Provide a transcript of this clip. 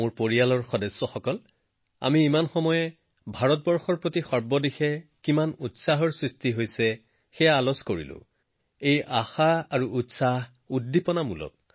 মোৰ পৰিয়ালৰ সদস্যসকল এই মুহূৰ্তত আমি ভাৰতৰ বিষয়ে সকলোতে যি আশা আৰু উৎসাহ আলোচনা কৰিলোঁএই আশা আৰু আকাংক্ষা যথেষ্ট ভাল